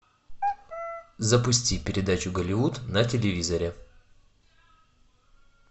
запусти передачу голливуд на телевизоре